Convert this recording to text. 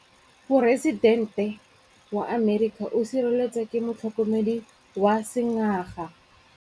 Poresitêntê wa Amerika o sireletswa ke motlhokomedi wa sengaga.